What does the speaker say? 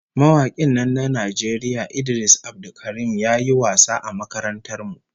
Mawakin nan na Najeriya Idris Abdulkarim ya yi wasa a makarantar mu